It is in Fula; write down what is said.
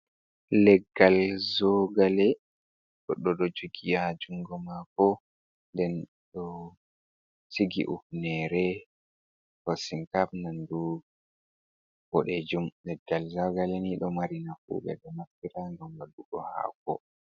Leggal zogale goɗɗo ɗo jugi ha jungo mako den ɗo cigi ufhnere hoshinkap nandu boɗejum, leggal zogale ni ɗo mari nafu ɓe ɗo naftira ngam waɗugo hako.